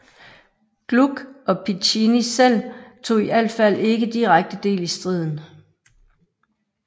Gluck og Piccinni selv tog i alt fald ikke direkte del i striden